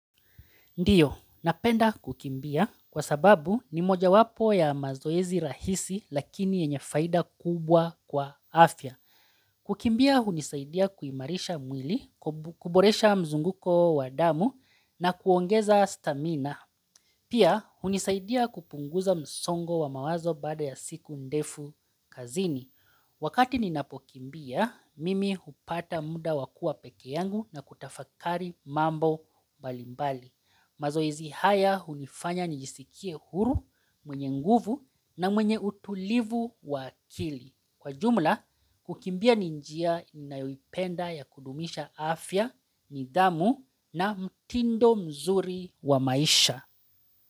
Ndio, napenda kukimbia kwa sababu ni mojawapo ya mazoezi rahisi lakini yenye faida kubwa kwa afya. Kukimbia hunisaidia kuimarisha mwili, kuboresha mzunguko wa damu na kuongeza stamina. Pia, hunisaidia kupunguza msongo wa mawazo baada ya siku ndefu kazini. Wakati ninapokimbia, mimi hupata muda wa kuwa pekea yangu na kutafakari mambo mbalimbali. Mazoezi haya hunifanya nijisikie huru, mwenye nguvu na mwenye utulivu wa akili. Kwa jumla, kukimbia ni njia ninayoipenda ya kudumisha afya, nidhamu na mtindo mzuri wa maisha.